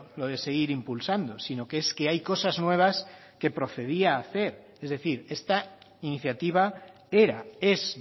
lo de seguir impulsando sino que es que hay cosas nuevas que procedía hacer es decir esta iniciativa era es